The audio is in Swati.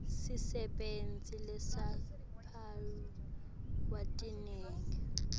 sisebenti lesitimphawu letilingene